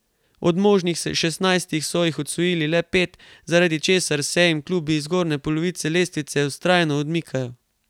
Od možnih šestnajstih so jih osvojili le pet, zaradi česar se jim klubi iz zgornje polovice lestvice vztrajno odmikajo.